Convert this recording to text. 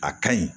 A ka ɲi